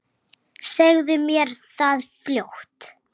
Segðu mér það fljótt.